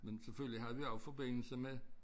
Men selvfølgelig havde vi også forbindelse med